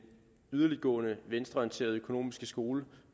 yderligtgående venstreorienterede økonomiske skole